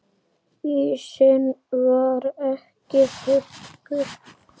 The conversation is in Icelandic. Ísinn var ekki þykkur.